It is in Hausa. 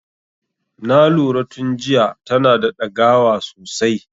Na lura tun jiya tana da dagawa sosai.